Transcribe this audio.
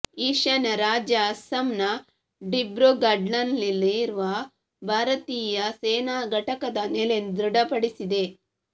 ಈಶಾನ್ಯ ರಾಜ್ಯ ಅಸ್ಸಾಂನ ದಿಬ್ರುಗಢ್ನಲ್ಲಿರುವ ಭಾರತೀಯ ಸೇನಾ ಘಟಕದ ನೆಲೆ ದೃಢಪಡಿಸಿದೆ